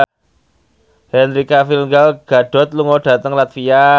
Henry Cavill Gal Gadot lunga dhateng latvia